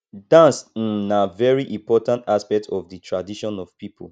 dance um na very important aspect of di tradition of people